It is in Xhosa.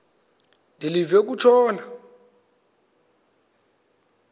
de live kutshona